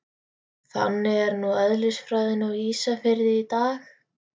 Þannig er nú eðlisfræðin á Ísafirði í dag.